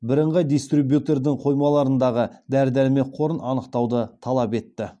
бірыңғай дистрибьютердің қоймаларындағы дәрі дәрмек қорын анықтауды талап етті